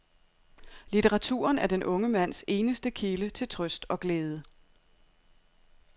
Litteraturen er den unge mands eneste kilde til trøst og glæde.